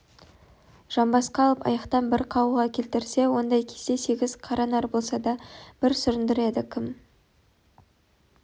жамбасқа алып аяқтан бір қағуға келтірсе ондай кезде сегіз қара нар болса да бір сүріндіреді кім